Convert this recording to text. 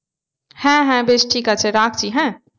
হ্যাঁ হ্যাঁ বেশ ঠিক আছে রাখছি হ্যাঁ